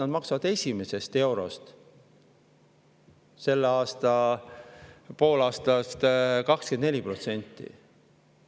Nad maksavad esimesest eurost 24%.